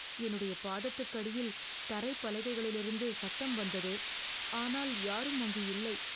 என்னுடைய பாதத்துக்கடியில் தரை பலகைகளிலிருந்து சத்தம் வந்தது, ஆனால் யாரும் அங்கு இல்லை.